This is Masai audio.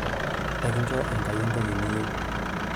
ekinjo enkai entoki niyieu